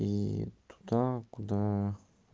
и туда куда